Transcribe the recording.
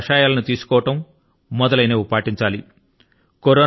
ఆయుర్వేద కషాయాల ను తీసుకోవడం మొదలైనవి పాటించాలి